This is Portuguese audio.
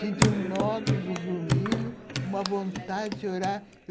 Senti o nódulo, o grumilho, uma vontade de chorar.